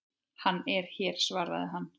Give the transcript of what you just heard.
Hann er hérna svaraði hann.